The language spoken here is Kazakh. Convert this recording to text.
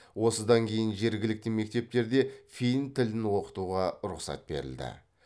осыдан кейін жергілікті мектептерде фин тілін оқытуға рұқсат берілді